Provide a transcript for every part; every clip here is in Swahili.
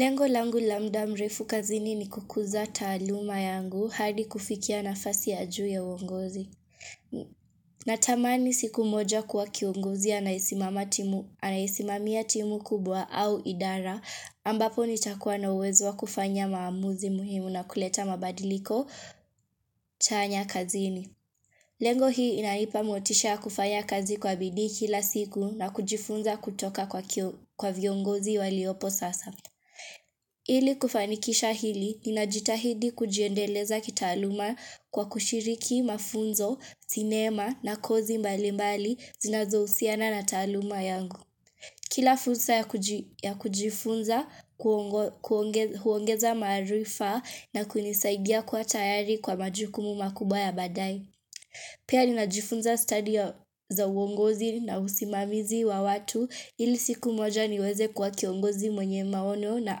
Lengo langu la muda mrefu kazini ni kukuza taaluma yangu hadi kufikia nafasi ya juu ya uongozi. Natamani siku moja kuwa kiongozi anayesimamia timu kubwa au idara ambapo nitakuwa na uwezo wa kufanya maamuzi muhimu na kuleta mabadiliko chanya kazini. Lengo hii inanipa motisha kufanya kazi kwa bidi kila siku na kujifunza kutoka kwa viongozi waliopo sasa. Ili kufanikisha hili, ninajitahidi kujiendeleza kitaaluma kwa kushiriki mafunzo, sinema na kozi mbalimbali zinazohusiana na taaluma yangu Kila fursa ya kujifunza, huongeza maarifa na kunisaidia kwa tayari kwa majukumu makubwa ya baadaye Pia ninajifunza stadia za uongozi na usimamizi wa watu ili siku moja niweze kwa kiongozi mwenye maono na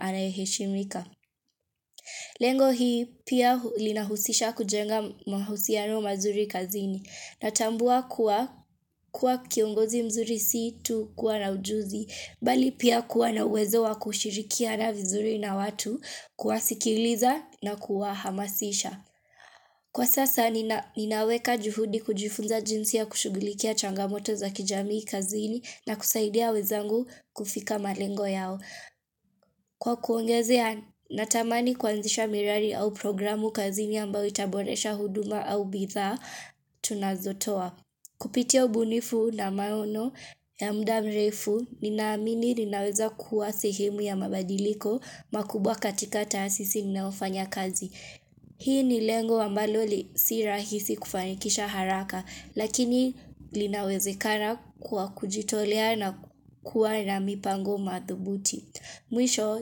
anayeheshimika. Lengo hii pia linahusisha kujenga mahusiano mazuri kazini. Natambua kuwa kiongozi mzuri si tu kuwa na ujuzi. Bali pia kuwa na uwezo wa kushirikiana vizuri na watu kuwasikiliza na kuwahamasisha. Kwa sasa ninaweka juhudi kujifunza jinsi ya kushughulikia changamoto za kijamii kazini na kusaidia wenzangu kufika malengo yao. Kwa kuongezea, natamani kuanzisha miradi au programu kazini ambayo itaboresha huduma au bidhaa tunazotowa. Kupitia ubunifu na maono ya muda mrefu, nina amini ninaweza kuwa sehemu ya mabadiliko makubwa katika taasisi ninayofanya kazi. Hii ni lengo ambalo si rahisi kufanikisha haraka lakini linawezekana kwa kujitolea na kuwa na mipango mathubuti. Mwisho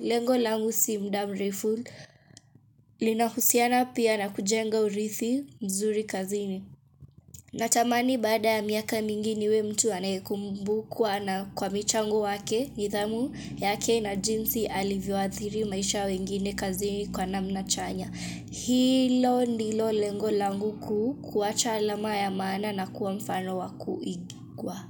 lengo langu si muda mrefu linahusiana pia na kujenga urithi mzuri kazini. Natamani baada ya miaka mingi niwe mtu anayekumbukwa na kwa michango wake nidhamu yake na jinsi alivyoathiri maisha ya wengine kazini kwa namna chanya. Hilo ndilo lengo langu kuu kuacha alama ya maana na kuwa mfano wa kuigwa.